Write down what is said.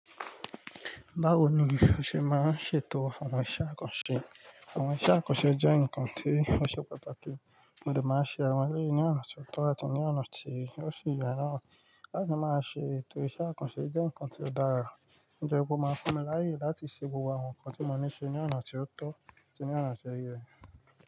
Báwo ni o ṣe máa ń ṣètò àwọn iṣẹ́ àkànṣe? Àwọn iṣẹ́ àkànṣe jẹ́ nǹkan tí ó ṣe pàtàkì, mo dè máa n ṣe àwọn ẹlẹ́yi ní ọ̀nà ti ó tọ́ àti ní ọ̀nà tí ó sì ye naá. Láti máa ṣe ètò iṣẹ́ àkànṣe jẹ́ nǹkan tí ó dára, nitori pé ó máa fún mi láyè láti ṣe gbogbo àwọn nǹkan tí mo ní ṣe ní ọ̀nà tí ó tọ́ àti ní ọ̀nà tí ó yẹ.